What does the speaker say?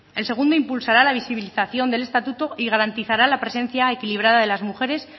el segundo impulsará la visibilización del estatuto y garantizará la presencia equilibrada de las mujeres